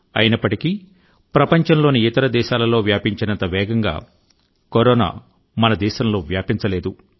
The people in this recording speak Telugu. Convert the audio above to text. అయినప్పటికీ ప్రపంచంలోని ఇతర దేశాలలో వ్యాపించినంత వేగంగా కరోనా మన దేశంలో వ్యాపించలేదు